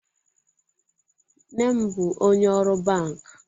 Mnem bu onye oru bank.